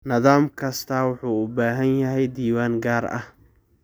Nidaam kastaa wuxuu u baahan yahay diiwaan gaar ah.